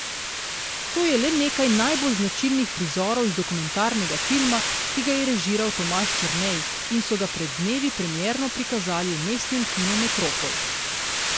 To je le nekaj najbolj značilnih prizorov iz dokumentarnega filma, ki ga je režiral Tomaž Črnej in so ga pred dnevi premierno prikazali v mestnem kinu Metropol.